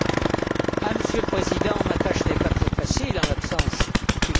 Monsieur le Président, ma tâche n'est pas très facile en l'absence du Conseil.